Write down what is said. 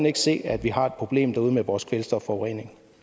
ikke se at vi har et problem derude med vores kvælstofforurening